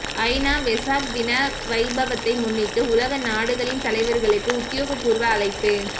ஐநா வெசாக் தின வைபவத்தை முன்னிட்டு உலக நாடுகளின் தலைவர்களுக்கு உத்தியோகபூர்வ அழைப்பு